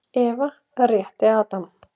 Eva rétti Adam.